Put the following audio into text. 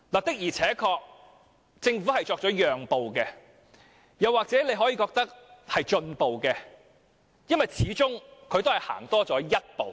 不過，政府確實作出了讓步，大家也可以認為它已有進步，因為它始終向前走了一步。